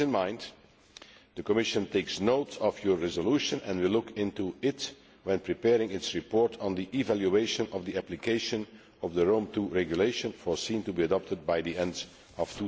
With this in mind, the Commission takes note of your resolution, and we shall look into it when preparing our report on the evaluation of the application of the Rome II Regulation, expected to be adopted by the end of